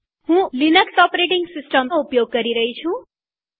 હું ઉબુન્ટુ ૧૦૦૪નો ઉપયોગ કરી રહી છું